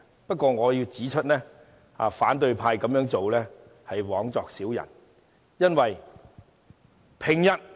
不過，我要指出，反對派這樣做是枉作小人。